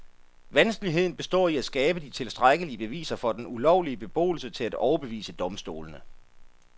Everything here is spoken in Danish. Vanskeligheden består i at skabe de tilstrækkelige beviser for den ulovlige beboelse til at overbevise domstolene.